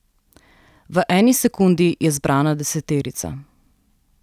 V eni sekundi je zbrana deseterica.